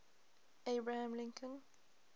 abraham lincoln